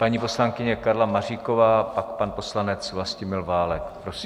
Paní poslankyně Karla Maříková a pan poslanec Vlastimil Válek.